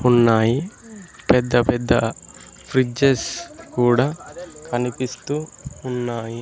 ఉన్నాయి పెద్ద పెద్ద ఫ్రిడ్జెస్ కూడా కనిపిస్తూ ఉన్నాయి.